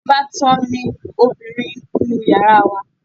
Ìbátan mi ọbìrin ń nu yàrá wa